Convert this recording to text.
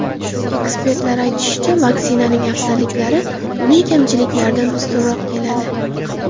Ekspertlar aytishicha, vaksinaning afzalliklari uning kamchiliklaridan ustunroq keladi.